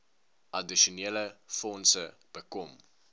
addisionele fondse bekom